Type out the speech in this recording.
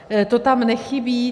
To tam nechybí.